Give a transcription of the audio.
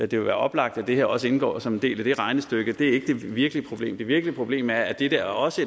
det vil være oplagt at det her også indgår som en del af det regnestykke men det er ikke det virkelige problem det virkelige problem er at dette også